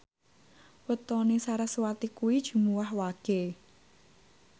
wetone sarasvati kuwi Jumuwah Wage